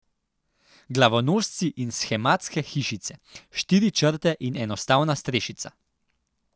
Glavonožci in shematske hišice, štiri črte in enostavna strešica.